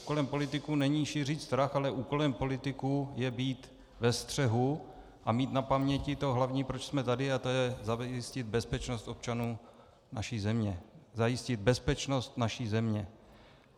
Úkolem politiků není šířit strach, ale úkolem politiků je být ve střehu a mít na paměti to hlavní, proč jsme tady, a to je zajistit bezpečnost občanů naší země, zajistit bezpečnost naší země.